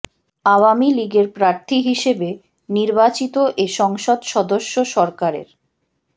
আওয়ামী লীগের প্রার্থী হিসেবে নির্বাচিত এ সংসদ সদস্য সরকারের